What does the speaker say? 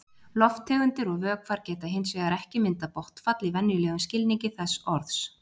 Lofttegundir og vökvar geta hins vegar ekki myndað botnfall í venjulegum skilningi þess orðs.